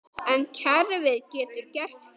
En kerfið getur gert fullt.